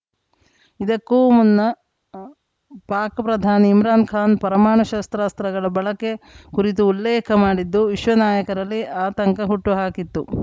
ಇದಕ್ಕೂ ಮುನ್ನ ಪಾಕ್‌ ಪ್ರಧಾನಿ ಇಮ್ರಾನ್‌ಖಾನ್‌ ಪರಮಾಣು ಶಸ್ತ್ರಾಸ್ತ್ರಗಳ ಬಳಕೆ ಕುರಿತು ಉಲ್ಲೇಖ ಮಾಡಿದ್ದು ವಿಶ್ವ ನಾಯಕರಲ್ಲಿ ಆತಂಕ ಹುಟ್ಟುಹಾಕಿತ್ತು